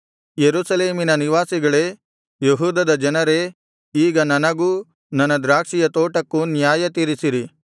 ಯೆರೂಸಲೇಮಿನ ನಿವಾಸಿಗಳೇ ಯೆಹೂದದ ಜನರೇ ಈಗ ನನಗೂ ನನ್ನ ದ್ರಾಕ್ಷಿಯ ತೋಟಕ್ಕೂ ನ್ಯಾಯತೀರಿಸಿರಿ